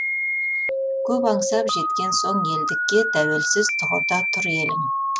көп аңсап жеткен соң елдікке тәуелсіз тұғырда тұр елің